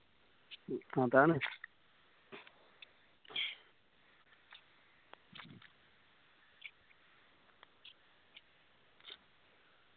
അതാണ്